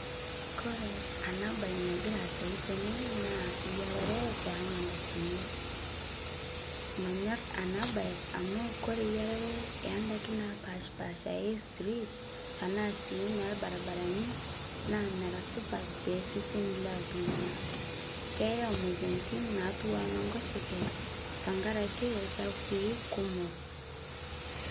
Kore ana bai nagiraa aasayu tenaa naa yararee emandazini manyor ana bai amu kore yararee endaki napashpaasha e street tanaa sii nelbarbarani naa mera supat teseseni loltung'ana keyau moyanitin natuwaa nenkoshekee tankarake lchapui kumoo.